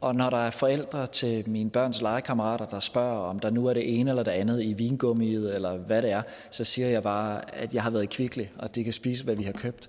og når der er forældre til mine børns legekammerater der spørger om der nu er det ene eller det andet i vingummiet eller hvad det er så siger jeg bare at jeg har været i kvickly og at de kan spise hvad vi har købt